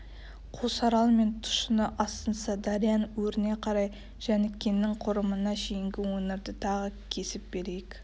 қосарал мен тұщыны азсынса дарияның өріне қарай жәнікеңнің қорымына шейінгі өңірді тағы кесіп берейік